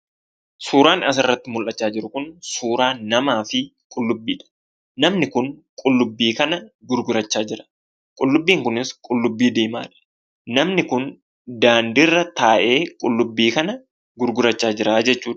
Suuraan asirratti mul'achaa jiru kun suuraa namaa fi qullubbiidha. Namni kun qullubbii kana gurgurachaa jira. Qullubbiin kunis qullubbii diimaadha. Namni kun daandiirra taa'ee qullubbii kana gurgurachaa jiraa jechuudha.